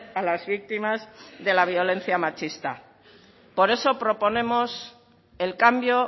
a las víctimas de la violencia machista por eso proponemos el cambio